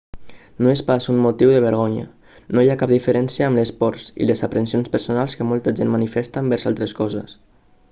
no és pas un motiu de vergonya no hi ha cap diferència amb les pors i les aprensions personals que molta gent manifesta envers altres coses